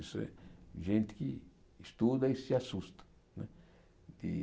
Isso é gente que estuda e se assusta de.